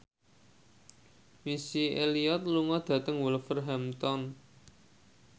Missy Elliott lunga dhateng Wolverhampton